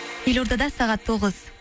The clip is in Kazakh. елордада сағат тоғыз